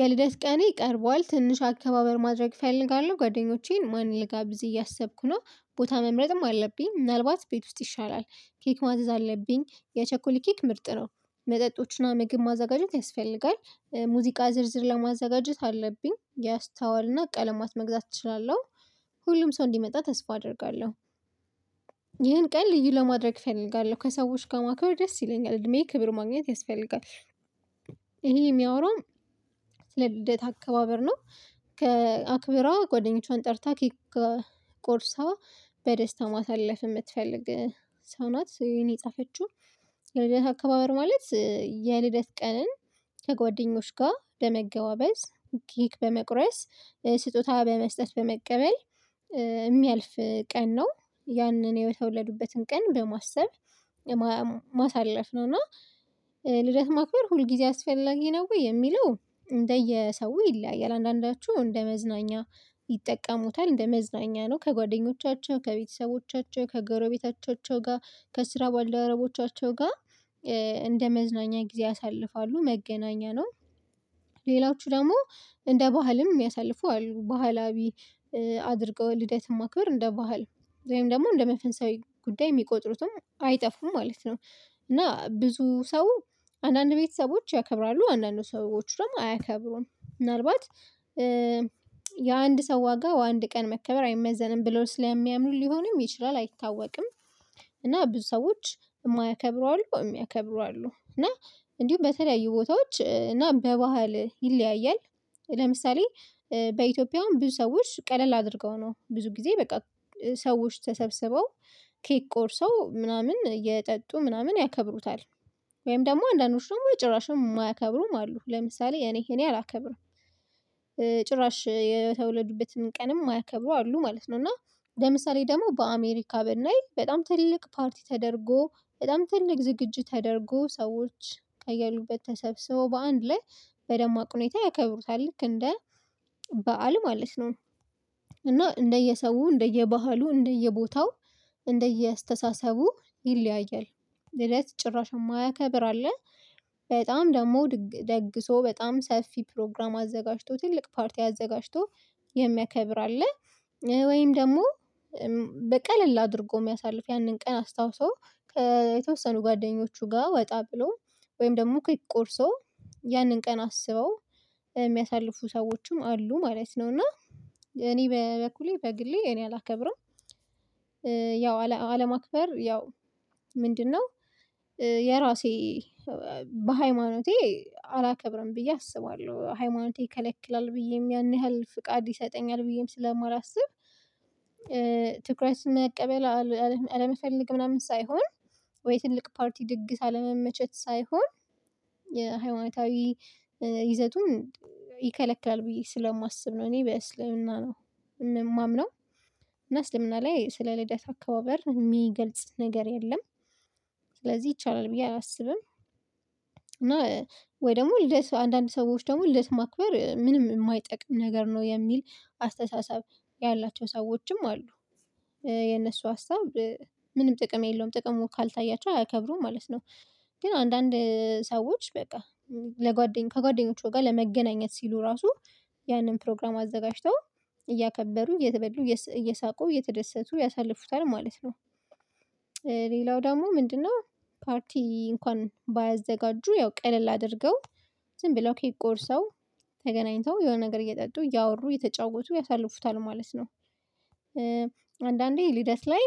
የልደት ቀኔ ቀርቧል ትንሽ አካባበር ማድረግ እፈልጋለሁ ጓደኞቼን ማን ልጋብዝ እያሰብኩ ነው ቦታ መምረጥም አለብኝ ምናልባት ቤት ውስጥ ይሻላል ኬክ ማዘዝ አለብኝ የቸኮል ኬክ ምርጥ ነው መጠጦችና ምግብ ማዘጋጀት ያስፈልጋል ሙዚቃ ዝርዝር ለማዘጋጀት አለብኝ ያስታዋልና ቀለማት መግዛት እችላለሁ ሁሉም ሰው እንዲመጣ ተስፋ አደርጋለሁ። ይህን ቀን ልዩ ለማድረግ እፈልጋለሁ ከሰዎች ጋር ማክበር ደስ ይለኛል እድሜ ክብር ማግኘት ያስፈልጋል። ይሄ የሚያወራው ስለ ልደት አከባበር ነው። ከአክብራ ጓደኞቿን ጠርታ ኬክ ቆርሳ በደስታ ማሳለፍ የምትፈልግ ሰው ናት። የኔ ጻፈችው ልደት አካባበር ማለት የልደት ቀንን ከጓደኞች ጋር በመገባበዝ ጌክ በመቁረስ ስጦታ በመስጠት በመቀበል የሚያልፍ ቀን ነው። ያንን የተወለዱበትን ቀን በማሰብ ማሳለፍ ነው። እና ልደት ማክበር ሁል ጊዜ አስፈላጊ ነው። ወይ የሚለው እንደየሰው ይለያያል። አንዳንዳችሁ እንደ መዝናኛ ይጠቀሙታል እንደ መዝናኛ ነው። ከጓደኞቻቸው ከቤተሰቦቻቸው ከጎረቤታቸው ጋር ከስራ ባለደረቦቻቸው ጋር እንደመዝናኛ ጊዜ ያሳልፋሉ መገናኛ ነው። ሌላዎቹ ደግሞ እንደ ባህልም የሚያሳልፉ አሉ። ባህላዊ አድርገው ልደትም ማክበር እንደ ባህል ወይም ደግሞ እንደ መፈንሳዊ ጉዳይ የሚቆጥሩትም አይጠፉም ማለት ነው። እና ብዙ ሰው አንዳንድ ቤተሰቦች ያከብራሉ አንዳንዱ ሰዎች ደግሞ አያከብሩም። ምናልባት የአንድ ሰው ዋጋ ወይ አንድ ቀን መከበር አይመዘንም ብለው ስለሚያምኑኝ ሊሆንም ይችላል አይታወቅም። እና ብዙ ሰዎች የማያከብሩ አሉ የሚያከብሩ አሉ። እና እንዲሁም በተለያዩ ቦታዎች እና በባህል ይለያያል። ለምሳሌ በኢትዮጵያ አሁን ሰዎች ቀለል አድርገው ነው ብዙ ጊዜ በቃ ሰዎች ተሰብስበው ኬክ ቆርሰው ምናምን የጠጡ ምናምን ያከብሩታል። ወይም ደግሞ አንዳንዶቹም ጭራሽ የማያከብሩም አሉ ለምሳሌ እኔ እኔ አላከብርም። ጭራሽ የተወለዱበትን ቀንም ማያከብሩ አሉ ማለት ነው። እና ለምሳሌ ደግሞ በአሜሪካ ብናይ በጣም ትልቅ ፓርቲ ተደርጎ በጣም ትልቅ ዝግጁ ተደርጎ ሰዎች ከያሉበት ተሰብስበው በአንድ ላይ በደማቅ ሁኔታ ያከብሩታል ልክ እንደ በዓል ማለት ነው። እና እንደየሰው እንደየባህሉ እንደየቦታው እንደየአስተሳሰቡ ይለያያል። እለት ጭራሽ የማያከብር አለ። በጣም ደግሞ ደግሶ በጣም ሰፊ ፕሮግራም አዘጋጅቶ ትልቅ ፓርቲ አዘጋጅቶ የሚያከብር አለ። ወይም ደግሞ በቀለል አድርጎ የሚያሳልፍ ያንን ቀን አስታውሶ የተወሰኑ ጓደኞቹ ጋር ወጣ ብሎ ወይም ደግሞ ክዊክ ቆርሶ ያንን ቀን አስበው የሚያሳልፉ ሰዎችም አሉ ማለት ነው። እና እኔ በበኩሌ በግሌ እኔ አላከብረውም። ያው አለማክበር ያው ምንድነው? የራሴ በሃይማኖቴ አላከብርም ብዬ አስባለሁ ሃይማኖቴ ይከለክላል ብዬም ያን ያህል ፍቃድ ይሰጠኛል ብዬም ስለማላስብ። ትኩረትና መቀበል አለመፈለግ ምናምን ሳይሆን ወይ ትልቅ ፓርቲ ድግስ አለመመቸት ሳይሆን። የሃይማኖታዊ ይዘቱን ይከለክላል ብዬ ስለማስብ ነው። እኔ ቢያስልህና ነው የምማምነው እና እስልምና ላይ ስለ ልደት አካባበር የሚገልጽ ነገር የለም። ስለዚህ ይቻላል ብዬ አላስብም። እና ወይ ደግሞ ልደት አንዳንድ ሰዎች ደግሞ ልደት ማክበር ምንም የማይጠቅም ነገር ነው የሚል አስተሳሰብ ያላቸው ሰዎችም አሉ። የነሱ ሀሳብ ምንም ጥቅም የለውም ጥቅሙ ካልታያቸው አይከብሩም ማለት ነው። ግን አንዳንድ ሰዎች በቃ ለጓደኞቹ ከጓደኞቹ ጋር ለመገናኘት ሲሉ ራሱ ያንን ፕሮግራም አዘጋጅተው እያከበሩ እየተበሉ እየሳቁ እየተደሰቱ ያሳልፉታል ማለት ነው። ሌላው ደግሞ ምንድነው? ፓርቲ እንኳን ባያዘጋጁ ያው ቀለል አድርገው ዝም ብለው ከይክ ቆርሰው ተገናኝተው የሆነ ነገር እየጠጡ እያወሩ እየተጫወቱ ያሳልፉታል ማለት ነው። አንዳንዴ ልደት ላይ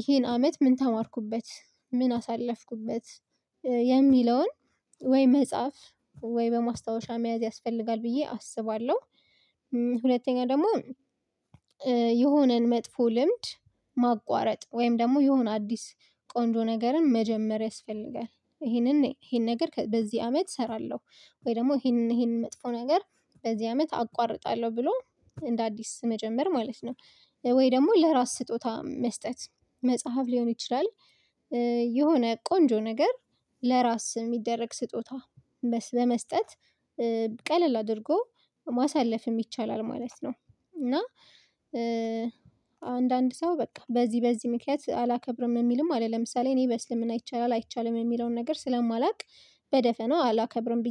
ይሄን አመት ምን ተማርኩበት ምን አሳለፍኩበት የሚለውን ወይ መጽሐፍ ወይ በማስታወሻ መያዝ ያስፈልጋል ብዬ አስባለሁ። ሁለተኛ ደግሞ የሆነን መጥፎ ልምድ ማቋረጥ ወይም ደግሞ የሆነ አዲስ ቆንጆ ነገርን መጀመር ያስፈልጋል። ይሄንን ይሄን ነገር በዚህ አመት እሰራለሁ ወይ ደግሞ ይሄንን ይሄንን መጥፎ ነገር በዚህ አመት አቋርጣለሁ ብሎ እንደ አዲስ መጀመር ማለት ነው። ወይ ደግሞ ለራስ ስጦታ መስጠት መጽሐፍ ሊሆን ይችላል። የሆነ ቆንጆ ነገር ለራስ የሚደረግ ስጦታ በመስጠት ቀለል አድርጎ ማሳለፍ ይቻላል ማለት ነው። እና አንዳንድ ሰው በቃ በዚህ በዚህ ምክንያት አላከብርም የሚልም አለ ለምሳሌ እኔ በእስልምና ይቻላል አይቻልም የሚለውን ነገር ስለማላውቅ በደፈናው አላከብርም